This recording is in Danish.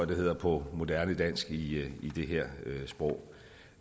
det hedder på moderne dansk i det her sprog